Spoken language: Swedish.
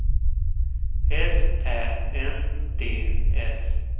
S Ä N D S